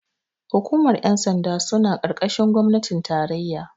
hukumar yansanda suna karkashin gwamnatin tarayya